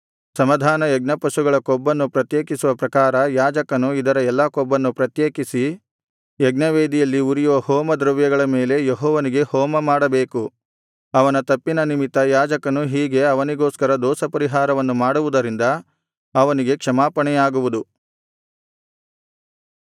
ಸಮಾಧಾನ ಯಜ್ಞಪಶುಗಳ ಕೊಬ್ಬನ್ನು ಪ್ರತ್ಯೇಕಿಸುವ ಪ್ರಕಾರ ಯಾಜಕನು ಇದರ ಎಲ್ಲಾ ಕೊಬ್ಬನ್ನು ಪ್ರತ್ಯೇಕಿಸಿ ಯಜ್ಞವೇದಿಯಲ್ಲಿ ಉರಿಯುವ ಹೋಮ ದ್ರವ್ಯಗಳ ಮೇಲೆ ಯೆಹೋವನಿಗೆ ಹೋಮಮಾಡಬೇಕು ಅವನ ತಪ್ಪಿನ ನಿಮಿತ್ತ ಯಾಜಕನು ಹೀಗೆ ಅವನಿಗೋಸ್ಕರ ದೋಷಪರಿಹಾರವನ್ನು ಮಾಡುವುದರಿಂದ ಅವನಿಗೆ ಕ್ಷಮಾಪಣೆಯಾಗುವುದು